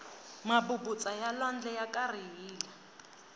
mabubutsa ya lwandle ya karihile